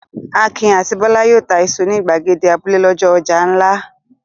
Akin àti Bólú yóò ta iṣu ní ìgbàgede abúlé lọ́jọ́ ọjà ńlá.